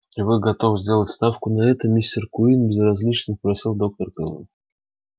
и вы готовы сделать ставку на это мистер куинн безразлично спросила доктор кэлвин